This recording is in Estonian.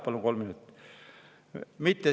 Palun kolm minutit.